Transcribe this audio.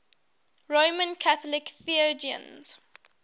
roman catholic theologians